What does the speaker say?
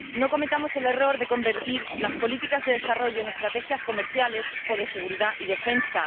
No cometamos el error de convertir las políticas de desarrollo en estrategias comerciales o de seguridad y defensa.